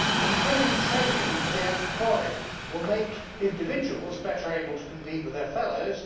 Improving training for the unemployed will make individuals better able to compete with their fellows.